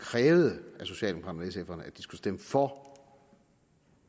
havde stemt for